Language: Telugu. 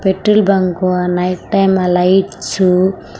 పెట్రోల్ బంక్ ఆ నైట్ టైం ఆ లైట్స్ --